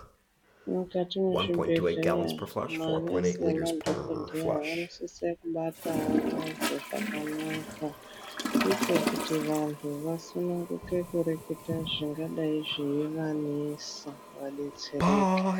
Mukati mwezvibhedhleya manesi nemadhokodheya vanosise kubatawo vantu zvakanaka ndiko kuti vantu vasununguke kurekete zvingadai zveivanesa vadetsereke